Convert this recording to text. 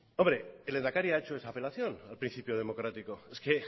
hombre el lehendakari ha hecho esa apelación al principio democrático es que